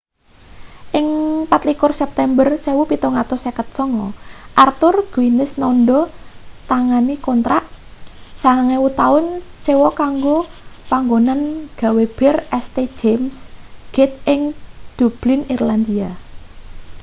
ing 24 september 1759 arthur guinness nandha tangani kontrak 9.000 taun sewa kanggo panggonan gawe bir st james' gate ing dublin irlandia